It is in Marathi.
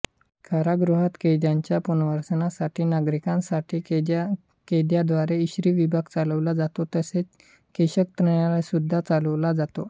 कारागृहात कैद्याच्या पुनर्वसनासाठी नागरिकांसाठी कैद्यान्द्वारे इस्त्री विभाग चालवला जातो तसेच केशकर्तनालयसुद्धा चालवले जाते